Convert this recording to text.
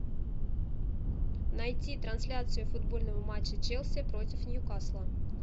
найти трансляцию футбольного матча челси против ньюкасла